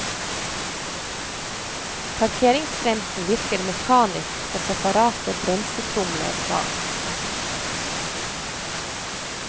Parkeringsbremsen virker mekanisk på separate bremsetromler bak.